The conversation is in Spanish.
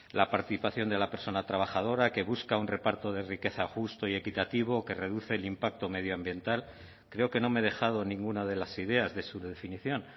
la participación de la persona trabajadora que busca un reparto de riqueza justo y equitativo que reduce el impacto medioambiental creo que no me he dejado ninguna de las ideas de su definición